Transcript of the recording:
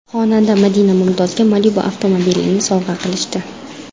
Xonanda Madina Mumtozga Malibu avtomobilini sovg‘a qilishdi .